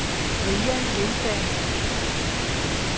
Brian Lindberg